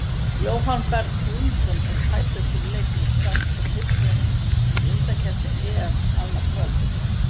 Jóhann Berg Guðmundsson er tæpur fyrir leik Íslands og Tyrklands í undankeppni EM annað kvöld.